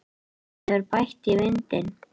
Það hefur bætt í vindinn.